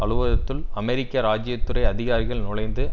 அலுவலகத்துள் அமெரிக்க ராஜீய துறை அதிகாரிகள் நுழைந்து